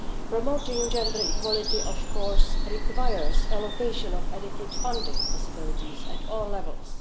Promoting gender equality, of course, requires the allocation of adequate funding possibilities at all levels.